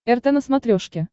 рт на смотрешке